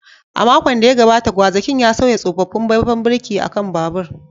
A makon da ya gabata, gwazakin ya sauya tsofaffin faifan birki a kan babur.